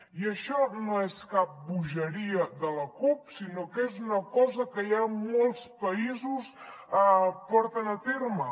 i això no és cap bogeria de la cup sinó que és una cosa que ja molts països porten a terme